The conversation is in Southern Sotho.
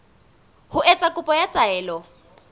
ho etsa kopo ya taelo